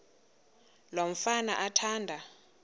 lo mfana athanda